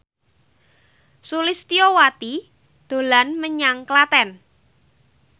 Sulistyowati dolan menyang Klaten